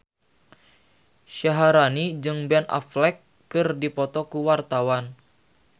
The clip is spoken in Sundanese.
Syaharani jeung Ben Affleck keur dipoto ku wartawan